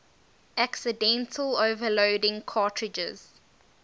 accidentally overloading cartridges